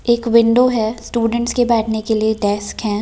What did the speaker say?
एक विंडो है स्टूडेंट्स के बैठने के लिए डेस्क है।